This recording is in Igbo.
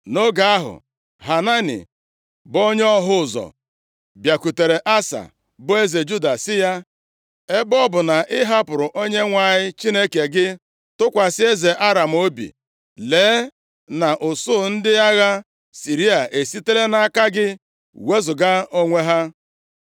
Nʼoge ahụ Hanani, bụ onye ọhụ ụzọ bịakwutere Asa, bụ eze Juda sị ya, “Ebe ọ bụ na ị hapụrụ Onyenwe anyị Chineke gị, tụkwasị eze Aram obi, lee na usuu ndị agha Siria esitela nʼaka gị wezuga onwe ha.